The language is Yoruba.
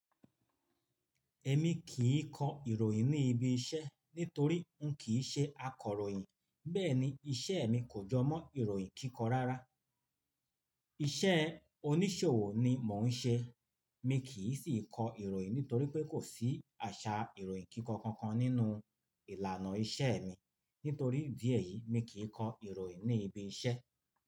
Ẹ̀mi kì í kọ ìròyìn ní ibi iṣẹ́ nítorí n kìí ṣe akọ̀ròyìn, bẹ́ẹ̀ ni iṣẹ́ mi kò jọ mọ ìròyìn kíkọ rárá. Iṣẹ́ oníṣòwò ni mọ n ṣe. Mi kì í sìí kọ ìròyìn nítorí pé kò sí àṣà ìròyìn kíkọ kankan nínú ìlànà iṣẹ́ mi. Nítorí ídiẹ eyí mi kì í kọ ìròyìn ní ibi iṣẹ́.